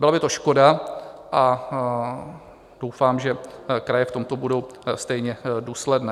Byla by to škoda a doufám, že kraje v tomto budou stejně důsledné.